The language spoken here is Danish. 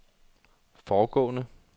foregående